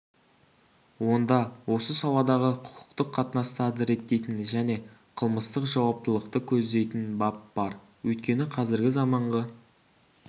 онда осы саладағы құқықтық қатынастарды реттейтін және қылмыстық жауаптылықты көздейтін бап бар өйткені қазіргі заманғы